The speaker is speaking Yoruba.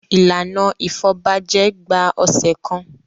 Ìlànà ìfọbajẹ gba ọ̀sẹ̀ kan.